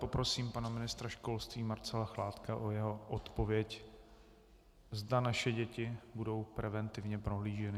Poprosím pana ministra školství Marcela Chládka o jeho odpověď, zda naše děti budou preventivně prohlíženy.